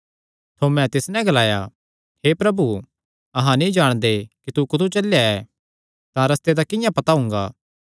थोमें तिस नैं ग्लाया हे प्रभु अहां नीं जाणदे कि तू कुत्थू चलेया ऐ तां रस्ते दा किंआं पता हुंगा